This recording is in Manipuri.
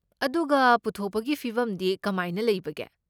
ꯑꯗꯨꯒ ꯄꯨꯊꯣꯛꯄꯒꯤ ꯐꯤꯚꯝꯗꯤ ꯀꯃꯥꯏꯅ ꯂꯩꯕꯒꯦ?